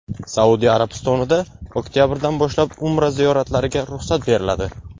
Saudiya Arabistonida oktabrdan boshlab Umra ziyoratlariga ruxsat beriladi.